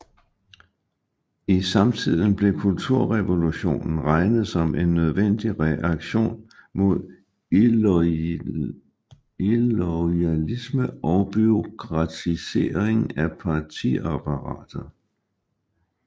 I samtiden blev kulturrevolutionen regnet som en nødvendig reaktion mod iloyalisme og bureaukratisering af partiapparatet